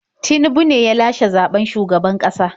Tinubu ne ya lashe zaɓen shugaban ƙasa.